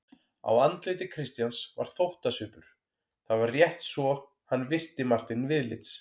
Á andliti Christians var þóttasvipur: það var rétt svo hann virti Martein viðlits.